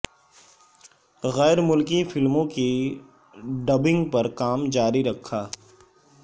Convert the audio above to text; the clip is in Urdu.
غیر ملکی فلموں کی ڈبنگ پر کام جاری رکھا